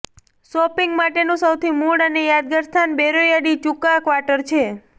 shopping માટેનું સૌથી મૂળ અને યાદગાર સ્થાન બેરોયો ડી ચુકા ક્વાર્ટર છે